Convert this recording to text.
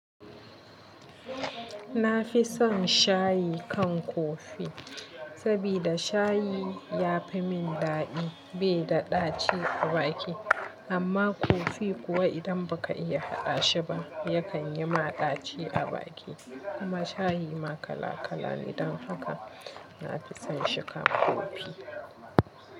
Na fi son shayi kan kofi, sabida shayi ya fi min daɗi bai da ɗaci a baki, amma kofi kuwa idan ba ka iya haɗa shi ba yakan yi ma ɗaci a baki. Kuma shayi ma kala kala ne, don haka na fi son shi kan kofi.